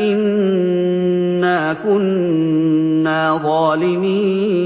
إِنَّا كُنَّا ظَالِمِينَ